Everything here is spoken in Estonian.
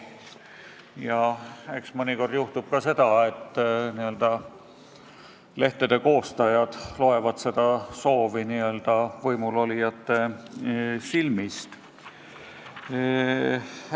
Ja eks mõnikord juhtub ka seda, et lehtede koostajad loevad seda soovi lihtsalt võimul olijate silmist.